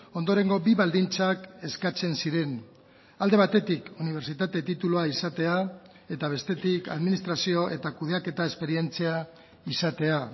ondorengo bi baldintzak eskatzen ziren alde batetik unibertsitate titulua izatea eta bestetik administrazio eta kudeaketa esperientzia izatea